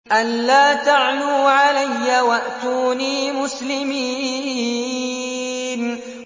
أَلَّا تَعْلُوا عَلَيَّ وَأْتُونِي مُسْلِمِينَ